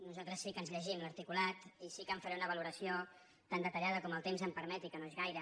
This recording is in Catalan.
nosaltres sí que ens llegim l’articulat i sí que en faré una valoració tan detallada com el temps em permeti que no és gaire